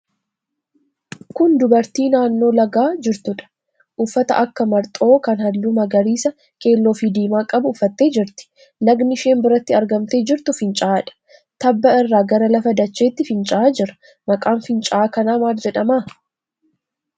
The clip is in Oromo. Kun dubartii naannoo lagaa jirtuudha. Uffata akka marxoo kan halluu magariisa, keelloofi diimaa qabu uffattee jirti. Lagni isheen biratti argamtee jirtu finca'aadha. Tabba irraa gara lafa dachaatti finca'aa jira. Maqaan finca'aa kanaa maal jedhama?